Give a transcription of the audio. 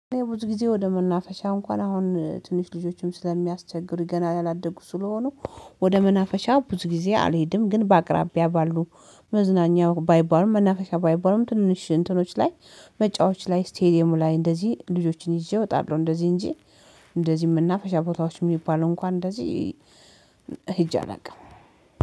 ብዙ ጊዜ ወደ መናፈሻ እንኳን አሁን ትንሽ ልጆችም ስለሚያስቸግሩ ገና ያላደጉ ስለሆኑ ወደ መናፈሻ ብዙ ጊዜ አልሄድም። ግን በአቅራቢያ ባሉ መዝናኛ ባይባሉም መናፈሻ ባይባሉም ትንሽ እንትኖች ላይ መጫወች ላይ ስቴዲየሙ ላይ እንደዚህ ልጆችን ይዤ እወጣለሁ። እንደዚህ እንጂ እንደዚህም እና መናፈሻ ቦታዎች የሚባለው እንኳን እንደዚህ ሂጅ አላውቅም።